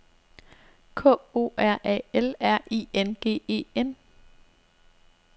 K O R A L R I N G E N